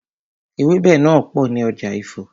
Ewẹ́bẹ̀ náà pò ní ọjà Ifo.